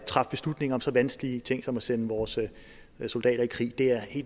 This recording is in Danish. træffe beslutninger om så vanskelige ting som at sende vores soldater i krig er